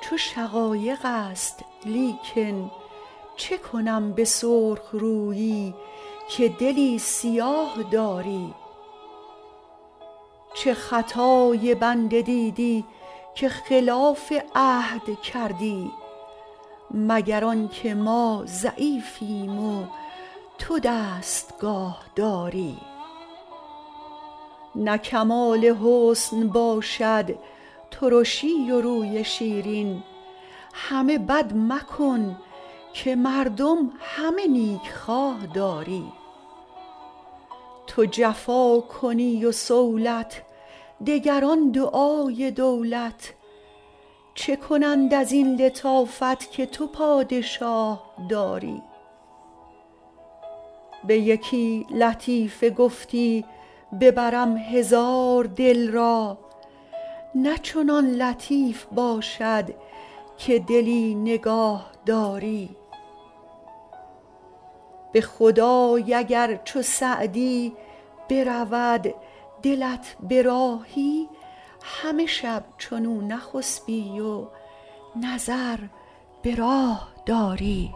چو شقایق است لیکن چه کنم به سرخ رویی که دلی سیاه داری چه خطای بنده دیدی که خلاف عهد کردی مگر آن که ما ضعیفیم و تو دستگاه داری نه کمال حسن باشد ترشی و روی شیرین همه بد مکن که مردم همه نیکخواه داری تو جفا کنی و صولت دگران دعای دولت چه کنند از این لطافت که تو پادشاه داری به یکی لطیفه گفتی ببرم هزار دل را نه چنان لطیف باشد که دلی نگاه داری به خدای اگر چو سعدی برود دلت به راهی همه شب چنو نخسبی و نظر به راه داری